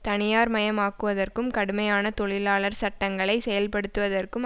தனியார் மயமாக்குவதற்கும் கடுமையான தொழிலாளர் சட்டங்களை செயல் படுத்துவதற்கும்